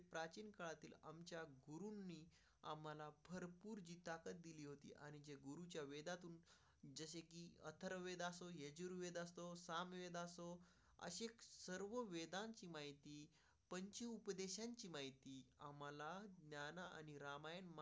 अथर्व वेदा सोये जुळतो, सांवळा असतो अशी सर्व वेदान्तची माहिती पश्चिम उपदेशाची माहिती आम्हाला त्यांना आणि रामायण म्हणजे.